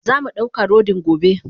Zamu dauka rodin gobe.